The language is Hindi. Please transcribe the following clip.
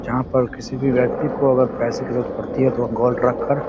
जहां पर किसी भी व्यक्ति को अगर पैसे की जरुरत पड़ती है तो वो गोल्ड रख कर --